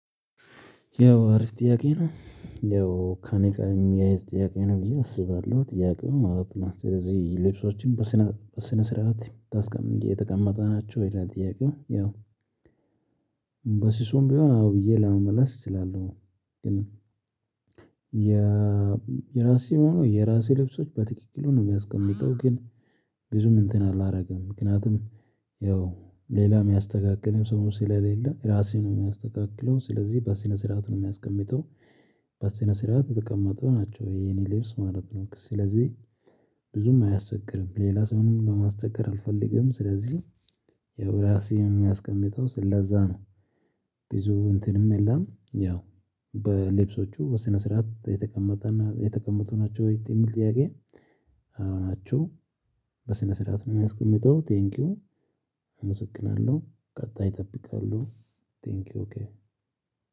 ያው አሪፍ ጥያቄ ነው። ያው ከእኔ ጋር የሚያያዝ ጥያቄ ነው ብዬ አስባለሁ ጥያቄው ማለት ነው። ስለዚህ ልብሶችን በስነ ስርዓት የተቀመጠ ናቸው ይላል ጥያቄው ያው በሲሱም ቢሆን አዎ ብዬ ለመመለስ እችላለሁ። ግን የራሴን ሆኖ የራሴ ልብሶች በትክክሉ ነው የሚያስቀምጠው ግን ብዙም እንትን አላደርግም ምክንያቱም ያው ሌላ የሚያስተካክለው ሰው ስለሌለ ራሴ ነኝ የሚያስተካክለው። ስለዚህ በስነ ስርዓት ነው የማስቀምጠው በስነ ስርዓት የተቀመጡ ናቸው የኔ ልብስ ማለት ነው። ስለዚህ ብዙም አያስቸግርም ሌላ ሰውንም ማስቸገር አልፈልግም። ስለዚህ ያው ራሴ የማስቀምጠው ስላዛ ነው ብዙ እንትንም የለም። ያው በልብሶቹ በስነ ስርዓት የተቀመጠ እና የተቀመጡ ናቸው የሚል ጥያቄ? አዎ ናቸው። በስነ ስርዓት ነው የማስቀምጠው። ቴንኪው አመሰግናለሁ ቀጣይ እጠብቃለሁ። ቴንኪው ኦኬ